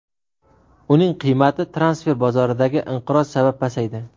Uning qiymati transfer bozoridagi inqiroz sabab pasaydi.